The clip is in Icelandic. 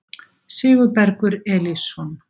Sigurbergur Elísson